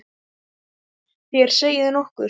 Þér segið nokkuð!